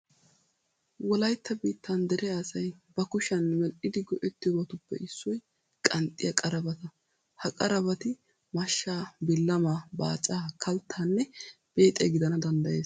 Wolaytta biittan dere asay ba kushiyan medhdhidi go"ettiyobatuppe issoy qanxxiya qarabata. Ha qarabati mashshaa, billamaa, baacaa, kalttaanne beexiya gidana danddayees.